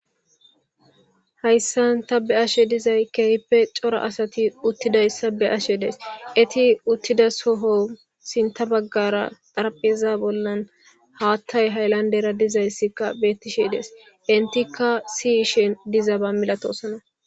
Hayssan ta be7ashe dizay keehippe cora asati uttidayssa be7ashe days. Eti uttida soho sintta baggaara xarapheeza bollan haatay haylanddera dizayssikka beettishe des. Enttikka si7ishe dizaba milatoosona.